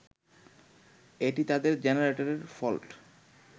এটি তাদের জেনারেটরের ফল্ট